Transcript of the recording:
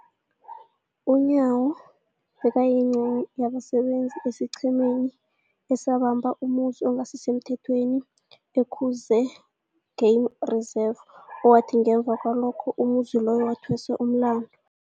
UNyawo bekayingcenye yabasebenza esiqhemeni esabamba umzumi ongasisemthethweni e-Umkhuze Game Reserve, owathi ngemva kwalokho umzumi loyo wathweswa umlandu.